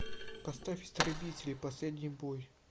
поставь истребители последний бой